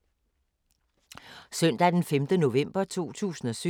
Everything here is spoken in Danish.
Søndag d. 5. november 2017